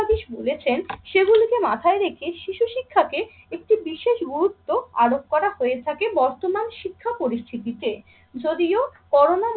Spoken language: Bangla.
বাদী বলেছেন সেগুলিকে মাথায় রেখে শিশু শিক্ষাকে একটি বিশেষ গুরুত্ব আরোপ করা হয়ে থাকে বর্তমান শিক্ষা পরিস্থিতিতে। যদিও করোনা